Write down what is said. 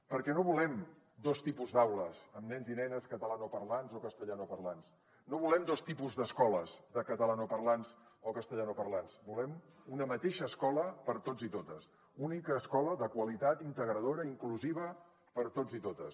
perquè no volem dos tipus d’aules amb nens i nenes catalanoparlants o castellanoparlants no volem dos tipus d’escoles de catalanoparlants o castellanoparlants volem una mateixa escola per a tots i totes única escola de qualitat integradora i inclusiva per a tots i totes